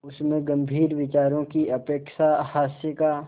उसमें गंभीर विचारों की अपेक्षा हास्य का